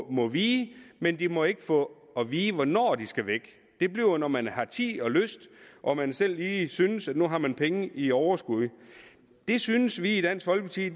må vige men de må ikke få at vide hvornår de skal væk det bliver når man har tid og lyst og man selv lige synes at nu har man penge i overskud det synes vi i dansk folkeparti